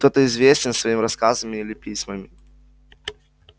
кто-то известен своими рассказами или письмами